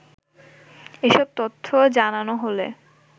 এসব তথ্য জানানো হলে